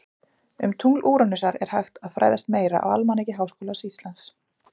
Um tungl Úranusar er hægt að fræðast meira á Almanaki Háskóla Íslands